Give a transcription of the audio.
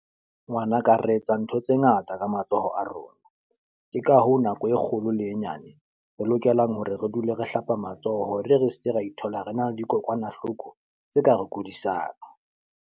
Ngwanaka re etsa ntho tse ngata ka matsoho a rona. Ke ka hoo nako e kgolo le e nyane, re lokelang hore re dule re hlapa matsoho. Hore re seke ra ithola re na le dikokwanahloko tse ka re kudisang.